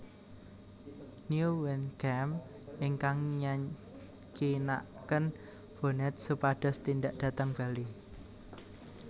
Nieuwenkamp ingkang nyakinaken Bonnet supados tindak dhateng Bali